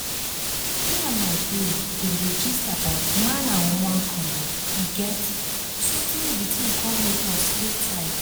me and my babe been dey gist about man and woman condom you get sotey di tin come make us dey tight